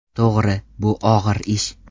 To‘g‘ri, bu og‘ir ish.